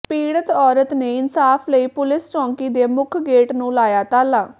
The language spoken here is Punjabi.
ਪੀੜਤ ਔਰਤ ਨੇ ਇਨਸਾਫ਼ ਲਈ ਪੁਲਿਸ ਚੌਕੀ ਦੇ ਮੁੱਖ ਗੇਟ ਨੂੰ ਲਾਇਆ ਤਾਲਾ